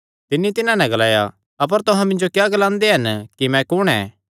तिन्नी तिन्हां नैं ग्लाया अपर तुहां मिन्जो क्या ग्लांदे हन